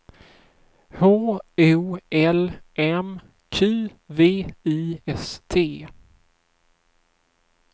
H O L M Q V I S T